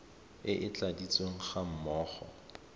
e e tladitsweng ga mmogo